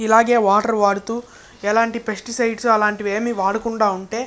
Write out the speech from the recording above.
ఇలాగె వాటర్ వాడుతూ ఎలాంటి పెస్టిసైడ్స్ అలాంటివి వాడకుండా ఉంటె--